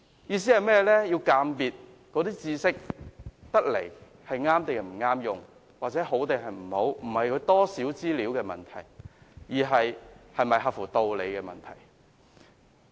"意思是我們鑒別知識是否適用，是好是壞，並非資料多寡的問題，而是合乎道理與否的問題。